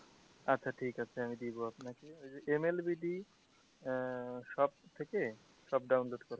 আচ্ছা ঠিক আছে আমি দেবো আপনাকে shop থেকে সব download করা,